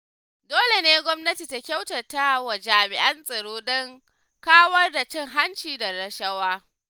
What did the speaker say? Dole ne gwamnati ta kyautatawa jami'an tsaro don kawar da cin hanci da rashawa.